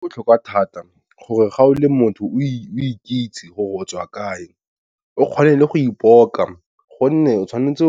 Go botlhokwa thata gore ga o le motho o ikitse gore o tswa kae o kgone le go ipoka, gonne tshwanetse